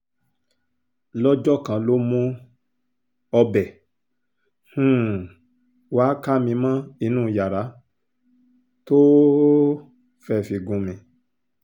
lọ́jọ́ kan ló mú ọbẹ̀ um wàá ká mi mọ́ inú yàrá tó um fẹ́ẹ́ fi gún mi